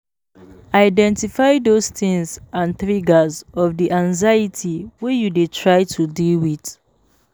Identify those things and triggers of di anxiety wey you dey try to deal with